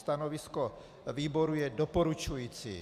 Stanovisko výboru je doporučující.